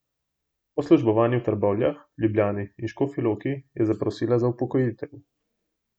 Po službovanju v Trbovljah, Ljubljani in Škofji Loki je zaprosila za upokojitev.